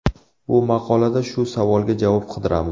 Bu maqolada shu savolga javob qidiramiz.